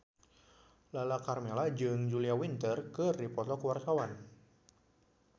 Lala Karmela jeung Julia Winter keur dipoto ku wartawan